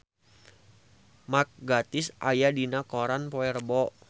Mark Gatiss aya dina koran poe Rebo